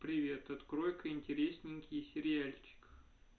привет открой ка интересненький сериальчик